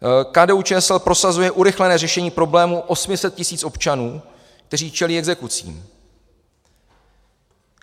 KDU-ČSL prosazuje urychlené řešení problému 800 tisíc občanů, kteří čelí exekucím.